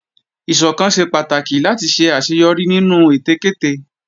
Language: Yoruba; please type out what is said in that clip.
Ìsọ̀kan ṣe pàtàkì láti ṣe àṣeyọrí nínú ète kéte